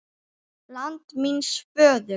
LAND MÍNS FÖÐUR